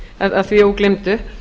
að því ógleymdu